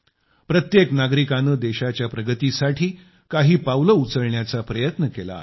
प्रत्येक नागरिकाने देशाच्या प्रगतीसाठी काही पावले उचलण्याचा प्रयत्न केला आहे